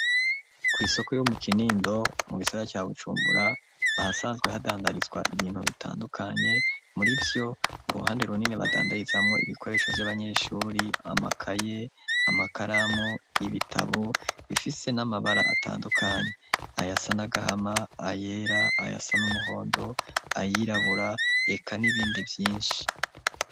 Kw'isoko yuo mu kinindo mu gisaga ca bucumbura ahasanzwe hadandarizwa ibintu bitandukanye muri vyo uruhande runini badandayizamwo ibikoresho vy'abanyeshuri amakaye amakaramu y'ibitabu bifise n'amabara atandukanyi aya sa nagahama ayera aya sa n'umuhondo ayirabura eka n'ibindi vyinshi.